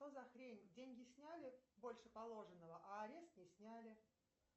что за хрень деньги сняли больше положенного а арест не сняли